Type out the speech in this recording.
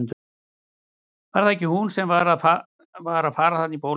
Var það ekki hún sem var að fara þarna á bólakaf?